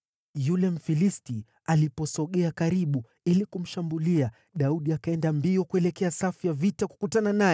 Yule Mfilisti aliposogea karibu ili kumshambulia, Daudi akaenda mbio kuelekea safu ya vita kukutana naye.